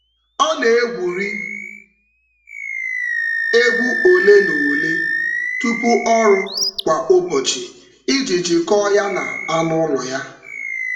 Ọ na-egwuri egwu ole na ole tupu ọrụ kwa ụbọchị iji jikọọ ya na anụ ụlọ ya.